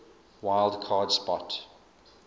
wild card spot